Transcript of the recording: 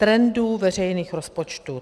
Trendů veřejných rozpočtů.